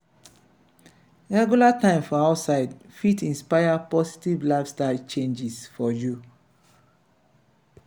regular time for outside fit inspire positive lifestyle changes for you.